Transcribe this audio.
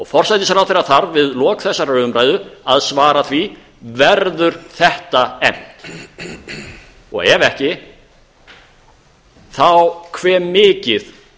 forsætisráðherra þarf við lok þessarar umræðu að svara því verður þetta efnt ef ekki þá hve mikið